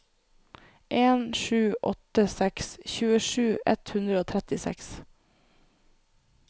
en sju åtte seks tjuesju ett hundre og trettiseks